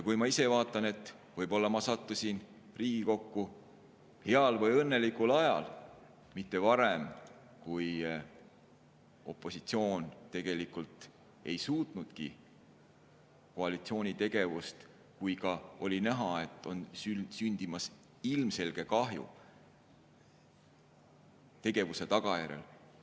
Ma ise vaatan, et võib-olla ma sattusin Riigikokku heal või õnnelikul ajal, mitte varem, kui opositsioon tegelikult ei suutnudki koalitsiooni tegevust kuidagi tõkestada, kui ka oli näha, et on sündimas ilmselge kahju nende tegevuse tagajärjel.